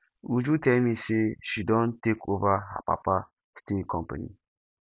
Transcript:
uju tell me say she don take over her papa steel company